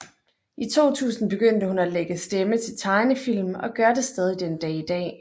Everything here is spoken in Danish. I 2000 begyndte hun at lægge stemme til tegnefilm og gør det stadig den dag i dag